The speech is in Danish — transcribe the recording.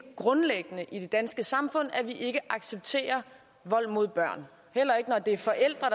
grundlæggende i det danske samfund at vi ikke accepterer vold mod børn heller ikke når det er forældre